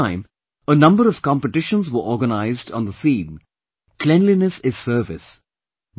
This time a number of competitions were organized on the theme "Cleanliness is Service"